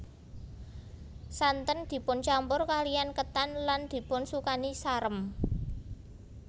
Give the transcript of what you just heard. Santen dipun campur kaliyan ketan lan dipun sukani sarem